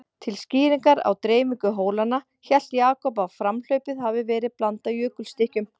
Til skýringar á dreifingu hólanna, hélt Jakob að framhlaupið hefði verið blandað jökulstykkjum.